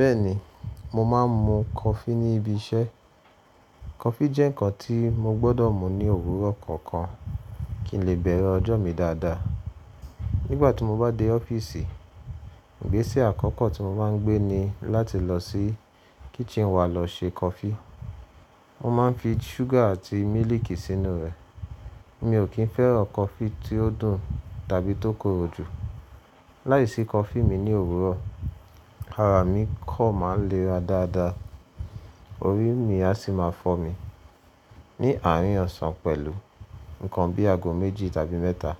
Bẹ́ẹ̀ni, mo máa ń mu coffee ní ibi iṣẹ́. Coffee jẹ́ nǹkan tí mo gbọdọ̀ mu ní òwúrọ̀ kọ̀ọ̀kan kí n lè bẹ̀rẹ̀ ọjọ́ mi dáadáa. Nígbà tí mo bá dé ọ́fíìsì, ìgbésẹ̀ àkọ́kọ́ tí mo máa ń gbé ni láti lọ sí kitchen wa lọ ṣe coffee. Mo máa ń fi ṣúgà àti mílíìkì sínú rẹ̀. Mi ò kí ń fẹ́ràn coffee tí ó dùn tàbí tó korò jù. Láìsí coffee mi ní òwúrọ̀, ara mi kan máa ń léra dáadáa, orí mi a sì máa fọ́ mi. Ni àárín ọ̀sán pẹ̀lú nǹkan bí i ago méjì tàbí mẹ́ta,